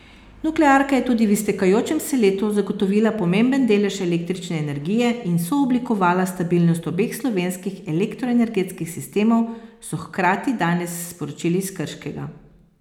Nuklearka je tudi v iztekajočem se letu zagotovila pomemben delež električne energije in sooblikovala stabilnost obeh slovenskih elektroenergetskih sistemov, so hkrati danes sporočili iz Krškega.